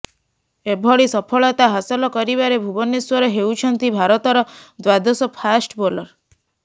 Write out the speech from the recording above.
ଏଭଳି ସଫଳତା ହାସଲ କରିବାରେ ଭୁବନେଶ୍ବର ହେଉଛନ୍ତି ଭାରତର ଦ୍ବାଦଶ ଫାଷ୍ଟ ବୋଲର